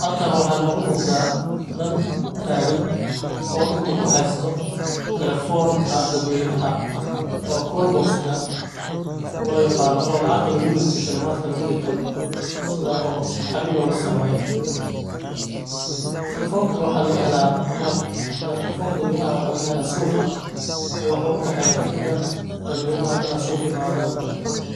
Halkan waxaa nogu muqda nin taagan oo dagta kuhaysto telefonka dadweynaha oo call box loo yaqaano oo lacagta lagurito shilimaadka lagurito sida oo xarir lolasameyo. Telefonkan waxaa lagahela ama telefonka dadweynaha waxaa lagahelaa suqa waxuu u daxeeya dadka dan dadweynaha ina suqa imaadan